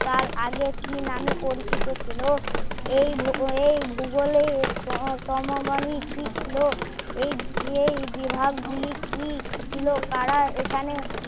তার আগে কি নামে পরিচিত ছিলো এই ভুব এই ভুগোলেই সমমনি কি ছিলো এই এই বিভাগ গুলি কি ছিলো কারা এখানে